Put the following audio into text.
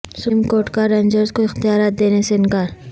supreme court کا rangers کو اختیارات دینے سے انکار